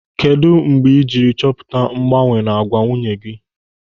Kedụ mgbe ịjiri chọpụta mgbanwe n'àgwà nwunye gị?